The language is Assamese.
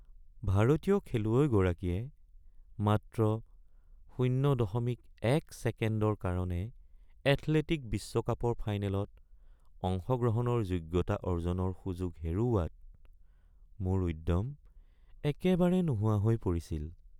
ভাৰতীয় খেলুৱৈগৰাকীয়ে মাত্ৰ ০.১ ছেকেণ্ডৰ কাৰণে এথলেটিক বিশ্বকাপৰ ফাইনেলত অংশগ্ৰহণৰ যোগ্যতা অৰ্জনৰ সুযোগ হেৰুওৱাত মোৰ উদ্যম একেবাৰে নোহোৱা হৈ পৰিছিল।